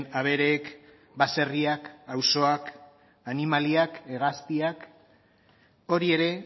abereek baserriak auzoak animaliak hegaztiak hori ere